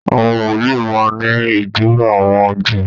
Àwọn wòlíì máa n ni ijuba awọn Júù.